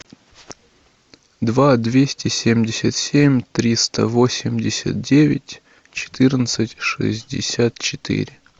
два двести семьдесят семь триста восемьдесят девять четырнадцать шестьдесят четыре